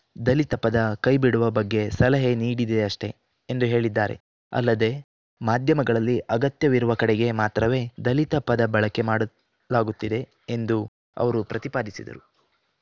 ದಲಿತ ಪದ ಕೈಬಿಡುವ ಬಗ್ಗೆ ಸಲಹೆ ನೀಡಿದೆಯಷ್ಟೇ ಎಂದು ಹೇಳಿದ್ದಾರೆ ಅಲ್ಲದೆ ಮಾಧ್ಯಮಗಳಲ್ಲಿ ಅಗತ್ಯವಿರುವ ಕಡೆಗೆ ಮಾತ್ರವೇ ದಲಿತ ಪದ ಬಳಕೆ ಮಾಡಲಾಗುತ್ತಿದೆ ಎಂದು ಅವರು ಪ್ರತಿಪಾದಿಸಿದರು